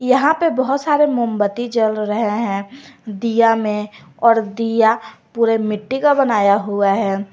यहां पे बहोत सारे मोमबत्ती जल रहे हैं दिया में और दिया पूरे मिट्टी का बनाया हुआ है।